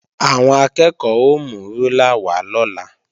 Àwọn akẹ́ẹ̀kọ́ ó mú rúlà wá lọ́la